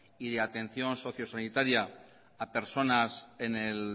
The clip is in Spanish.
y de atención socio sanitaria a personas en el